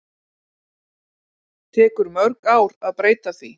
Tekur mörg ár að breyta því